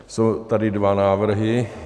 Jsou tady dva návrhy.